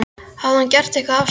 Hafði hann gert eitthvað af sér?